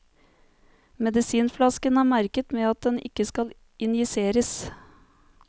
Medisinflasken er merket med at den ikke skal injiseres.